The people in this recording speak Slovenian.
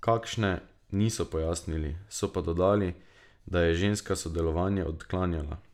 Kakšne, niso pojasnili, so pa dodali, da je ženska sodelovanje odklanjala.